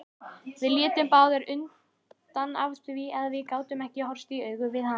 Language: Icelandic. Við litum báðar undan af því að við gátum ekki horfst í augu við hana.